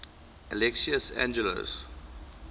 alexios angelos